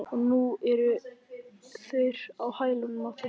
Og nú eru þeir á hælunum á þér